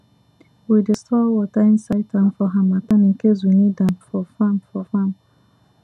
we dey store water inside tank for harmattan in case we need am for farm for farm